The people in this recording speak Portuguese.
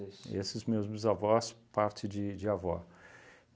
Esses meus bisavós, parte de de avó.